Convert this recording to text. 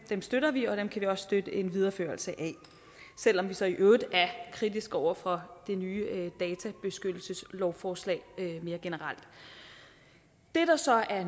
støtter vi og dem kan vi også støtte en videreførelse af selv om vi så i øvrigt er kritiske over for det nye databeskyttelseslovforslag mere generelt det der så er